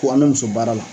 Ko an bɛ muso baara la